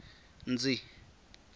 ndzi